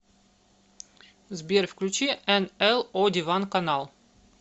сбер включи эн эл о диван канал